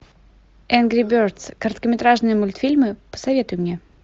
энгри бердс короткометражные мультфильмы посоветуй мне